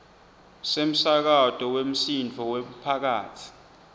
semsakato wemsindvo wemphakatsi